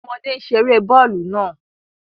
Awọn ọmọde n ṣere bọọlu naa